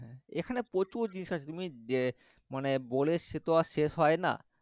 হ্যাঁ এখানে প্রচুর জিনিস আছে তুমি মানে বলে সে তো আর শেষ হয় না,